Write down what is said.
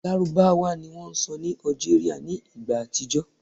Lárúbáwá ni wón sọ ní Algeria ní ìgbà àtijó